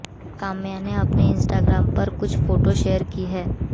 काम्या ने अपने इंस्टाग्राम पर कुछ फोटो शेयर की हैं